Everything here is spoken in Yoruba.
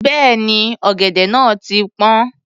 Bẹ́ẹ̀ni, ọ̀gẹ̀dẹ̀ náà ti pọ́n.